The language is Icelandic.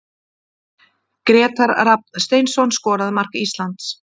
Grétar Rafn Steinsson skoraði mark Íslands.